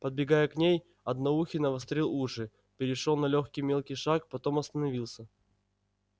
подбегая к ней одноухий навострил уши перешёл на лёгкий мелкий шаг потом остановился